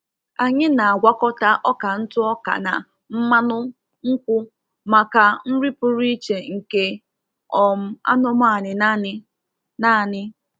Anyị na-agwakọta ọka ntụ ọka na mmanụ nkwu maka nri pụrụ iche nke um anụmanụ nanị. nanị.